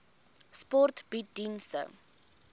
sport bied dienste